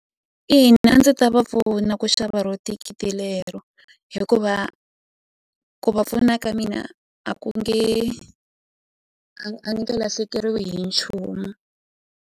Ina a ndzi ta va pfuna ku xava ro thikithi lero hikuva ku va pfuna ka mina a ku nge a ni nge lahlekeriwi hi nchumu.